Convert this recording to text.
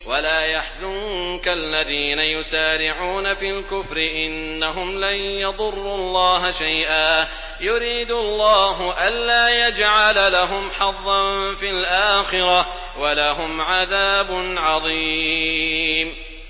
وَلَا يَحْزُنكَ الَّذِينَ يُسَارِعُونَ فِي الْكُفْرِ ۚ إِنَّهُمْ لَن يَضُرُّوا اللَّهَ شَيْئًا ۗ يُرِيدُ اللَّهُ أَلَّا يَجْعَلَ لَهُمْ حَظًّا فِي الْآخِرَةِ ۖ وَلَهُمْ عَذَابٌ عَظِيمٌ